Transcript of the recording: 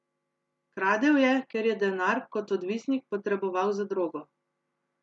Kradel je, ker je denar, kot odvisnik, potreboval za drogo.